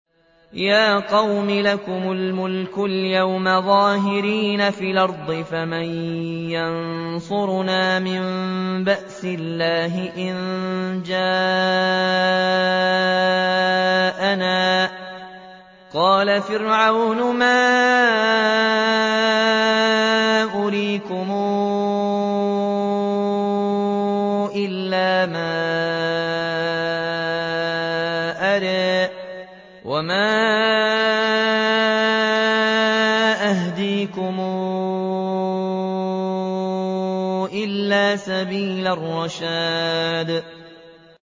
يَا قَوْمِ لَكُمُ الْمُلْكُ الْيَوْمَ ظَاهِرِينَ فِي الْأَرْضِ فَمَن يَنصُرُنَا مِن بَأْسِ اللَّهِ إِن جَاءَنَا ۚ قَالَ فِرْعَوْنُ مَا أُرِيكُمْ إِلَّا مَا أَرَىٰ وَمَا أَهْدِيكُمْ إِلَّا سَبِيلَ الرَّشَادِ